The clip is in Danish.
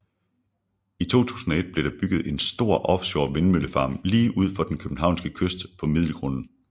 I 2001 blev der bygget en stor offshore vindmøllefarm lige uden for den københavnske kyst på Middelgrunden